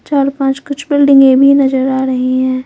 चार पांच कुछ बिल्डिंगें भी नजर आ रही हैं।